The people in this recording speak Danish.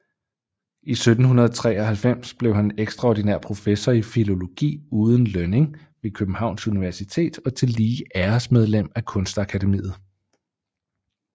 I 1793 blev han extraordinær Professor i Filologi uden Lønning ved Kjøbenhavns Universitet og tillige Æresmedlem af Kunstakademiet